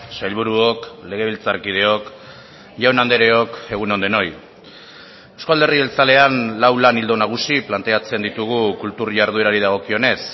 sailburuok legebiltzarkideok jaun andreok egun on denoi euzko alderdi jeltzalean lau lan ildo nagusi planteatzen ditugu kultur jarduerari dagokionez